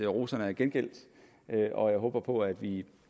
roserne er gengældt og jeg håber på at vi